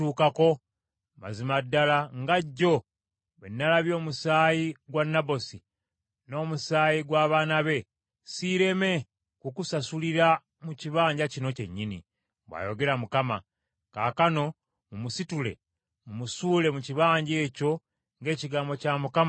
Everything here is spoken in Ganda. ‘Mazima ddala, nga jjo bwe nnalabye omusaayi gwa Nabosi n’omusaayi gw’abaana be, siireme kukusasulira mu kibanja kino kyennyini,’ bw’ayogera Mukama . Kaakano mumusitule mumusuule mu kibanja ekyo ng’ekigambo kya Mukama bwe kiri.”